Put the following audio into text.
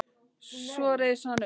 Svo reis hann upp.